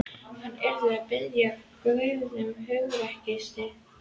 Hann yrði að biðja Guð um hugrekki og styrk.